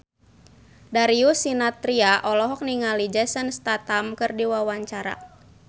Darius Sinathrya olohok ningali Jason Statham keur diwawancara